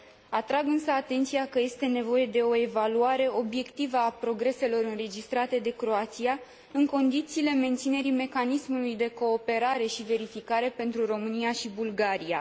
Atrag, însă, atenția că este nevoie de o evaluare obiectivă a progreselor înregistrate de Croația, în condițiile menținerii mecanismului de cooperare și verificare pentru România și Bulgaria.